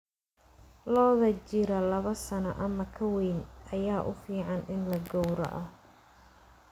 Lo'da jira laba sano ama ka weyn ayaa u fiican in la gowraco.